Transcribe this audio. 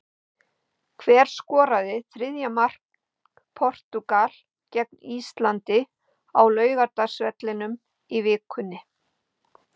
Hver skoraði þriðja mark Portúgal gegn Íslandi á Laugardalsvelli í vikunni?